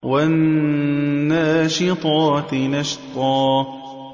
وَالنَّاشِطَاتِ نَشْطًا